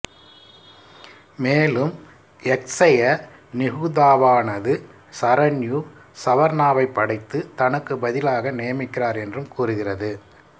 மேலும் யக்ச நிகுதாவானது சரண்யு சவர்ணாவைப் படைத்து தனக்குப் பதிலாக நியமிக்கிறார் என்றும் கூறுகிறது